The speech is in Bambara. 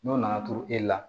N'o nana turu e la